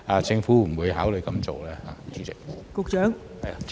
政府會否考慮這樣做呢？